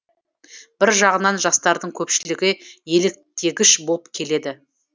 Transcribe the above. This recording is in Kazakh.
бір жағынан жастардың көпшілігі еліктгіш болып келеді